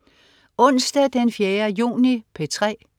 Onsdag den 4. juni - P3: